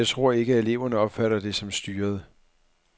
Jeg tror ikke, at eleverne opfatter det som styret.